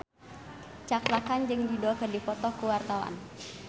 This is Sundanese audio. Cakra Khan jeung Dido keur dipoto ku wartawan